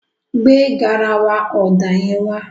Gbé garawa ọ̀dà yẹn wá.